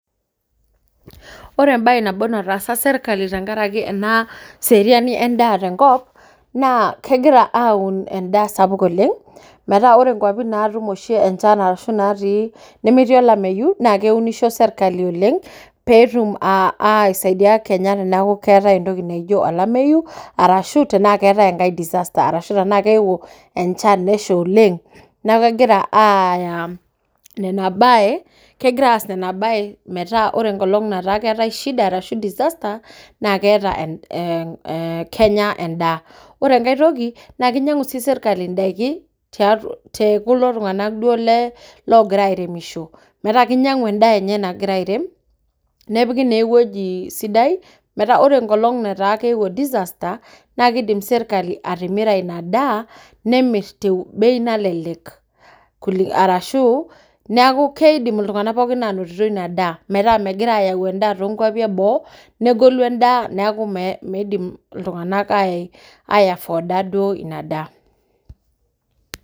Ore embaye nabo nataasa sirkali tenkarake ena seriani endaa tenkop naa kegira aun endaa sapuk oleng metaa ore nkuapi naatum oshi enchan arashu natii nemetii olameyu naa keunisho serkali oleng peetum uh aisaidia kenya teneeku keetae entoki naijio olameyu arashu tenaa keetae enkae disaster arashu tenaa keewuo enchan nesha oleng neku kegira uh aaya nena baye kegira aas nena baye metaa ore enkolong nataa keetae shida arashu disaster naa keeta kenya endaa ore enkae toki naa kinyang'u sii sirkali idaiki te tekulo tung'anak duo le logira airemisho metaa kinyang'u endaa enye nakira airem nepiki naa ewueji sidai metaa ore enkolong netaa keewuo disasater naa kidim sirakali atimira ina daa nemirr te bei nalelek arashu neaku keidim iltung'anak pookin anotito ina daa metaa megira ayau endaa tonkuapi eboo negolu endaa neku mee meidim iltung'anak ae ae afoda duo ina daa.